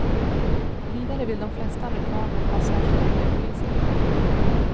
Vidare vill de flesta amerikaner ha särskilda miljöpoliser.